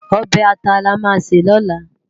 Òbè àtá làmá sé lòlá